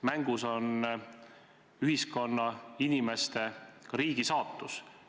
Mängus on ühiskonna, inimeste, ka riigi saatus.